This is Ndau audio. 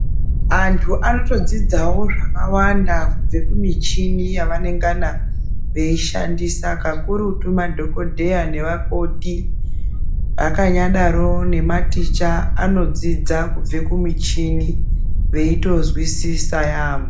Antu anotodzidzawo zvakawanda kubva kumuchini yavanenge veishandisa kubva kumuchini kakurutu Madhokodheya nevakoti zvakanyadaro nematicha vanodzidza kubva kumuchini veitozwisisa yambo.